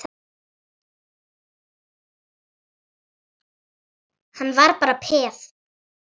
Hann var bara peð.